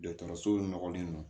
Dɔgɔtɔrɔso nɔgɔlen don